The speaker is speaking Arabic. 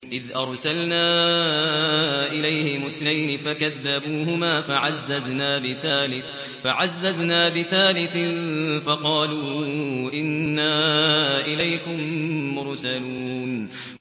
إِذْ أَرْسَلْنَا إِلَيْهِمُ اثْنَيْنِ فَكَذَّبُوهُمَا فَعَزَّزْنَا بِثَالِثٍ فَقَالُوا إِنَّا إِلَيْكُم مُّرْسَلُونَ